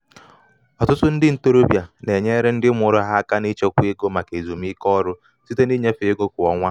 ọtụtụ ndị ntorobịa na-enyere ndị mụrụ ha aka aka n’ịchekwa ego maka ezumike ọrụ site na ịnyefe ego kwa ọnwa.